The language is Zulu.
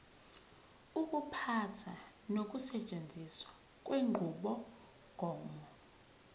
ukuphatha nokusetshenziswa kwenqubomgomo